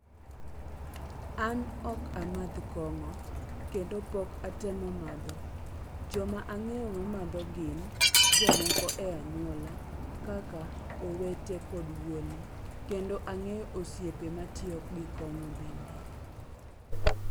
An ok amadho kong'o kendo pok atemo madho. Joma ang'eyo mamadho gin jomoko e anyuola, kaka owete kod wuone. Kendo ang'eyo osiepe matiyo gi kong'o bende.